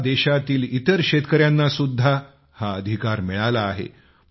आता देशातील इतर शेतकऱ्यांना सुद्धा हा अधिकार मिळाला आहे